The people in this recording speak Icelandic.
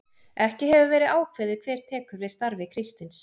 Ekki hefur verið ákveðið hver tekur við starfi Kristins.